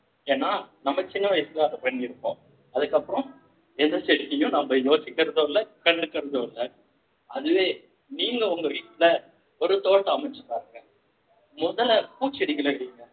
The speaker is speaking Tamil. ஏன்னா நம்ம சின்ன வயசுல அத செஞ்சுருப்போம் அதுக்கப்புறம் எந்த stage லயும் நம்மயோசிக்கறதும் இல்ல கண்டுக்கறதும் இல்ல அதுவே நீங்க உங்க வீட்டிலே ஒரு தோட்டம் அமைச்சுப் பாருங்க முதல்ல பூச்செடிகளை வைங்க